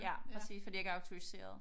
Ja præcis fordi jeg ikke er autoriseret